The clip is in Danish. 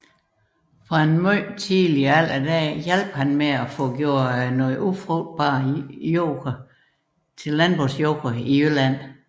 Fra en tidlig alder hjalp han med at få gjort ufrugtbar jord til landbrugsjord i Jylland